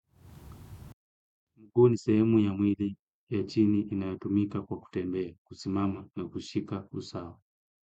Mguu ni sehemu ya mwili ya chini inayotumika kwa kutembea, kusimama na kushika usawa.